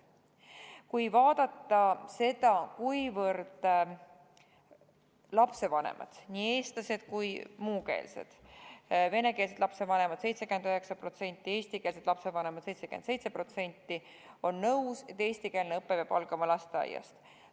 Kui vaadata, kui palju lapsevanemad, siis 79% venekeelsetest ja 77% eestikeelsetest lapsevanematest on nõus, et eestikeelne õpe peab algama lasteaiast.